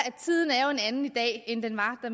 at